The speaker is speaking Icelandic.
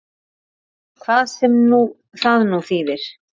Hvað sem það nú þýðir!